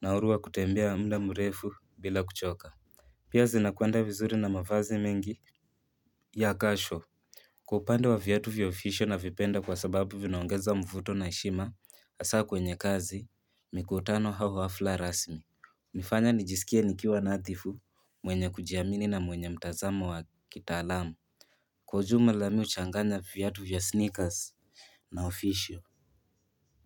na huru wa kutembea muda mrefu bila kuchoka. Pia zinakwenda vizuri na mavazi mengi ya kasho. Kwa upande wa vyatu vya ofisho navipenda kwa sababu vinaongeza mvuto na heshima hasa kwenye kazi mikutano au hafla rasmi nifanya nijisikia nikiwa nadhifu mwenye kujiamini na mwenye mtazama wa kitaalamu Kwa ujuma la mi huchanganya viatu vya sneakers na ofisho.